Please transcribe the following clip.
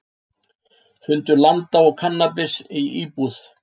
Fundu landa og kannabis í íbúð